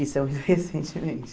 Isso é muito recentemente.